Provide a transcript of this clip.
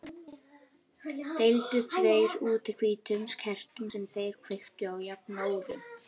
Deildu þeir út hvítum kertum sem þeir kveiktu á jafnóðum.